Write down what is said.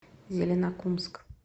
зеленокумск